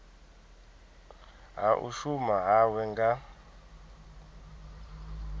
ha u shuma hawe nga